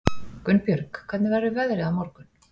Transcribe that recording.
Gunnbjörg, hvernig verður veðrið á morgun?